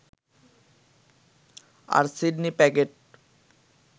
আর Sidney প্যাগেট